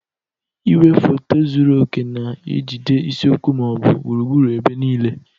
Igwefoto zuru oke na-ejide isiokwu ma ọ bụ gburugburu ebe niile.